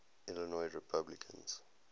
illinois republicans